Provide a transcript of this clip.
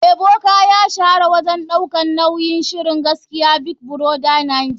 Ebuka kuma ya shahara wajen daukar nauyin shirin gaskiya big brother naija.